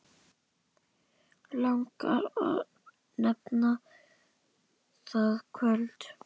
Langar að nefna það kvöld.